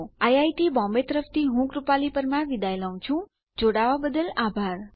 IIT Bombay તરફથી spoken tutorial project માટે ભાષાંતર કરનાર હું જ્યોતી સોલંકી વિદાય લઉં છું